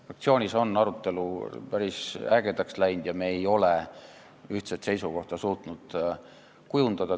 Fraktsioonis on arutelu päris ägedaks läinud ja me ei ole suutnud ühtset seisukohta kujundada.